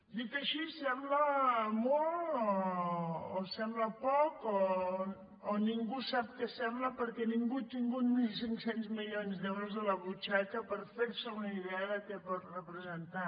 dit així sembla molt o sembla poc o ningú sap què sembla perquè ningú ha tingut mil cinc cents milions d’euros a la butxaca per fer se una idea de què pot representar